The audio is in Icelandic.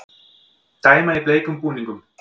Dæma í bleikum búningum